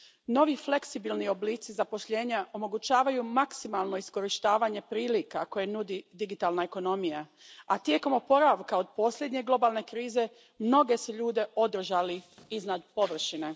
Novi fleksibilni oblici zaposlenja omogućavaju maksimalno iskorištavanje prilika koje nudi digitalna ekonomija, a tijekom oporavka od posljednje globalne krize mnoge su ljude održali iznad površine.